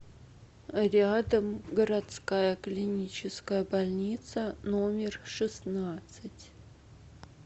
рядом городская клиническая больница номер шестнадцать